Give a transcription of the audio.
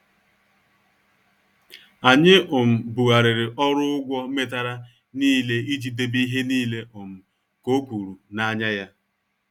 Anyị um bughariri ọrụ ụgwọ metara nile iji debe ihe nile um ka ọ kwuru n' anya ya.